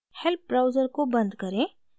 help browser को बंद करें